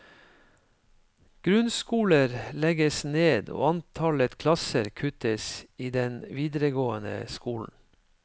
Grunnskoler legges ned og antallet klasser kuttes i den videregående skolen.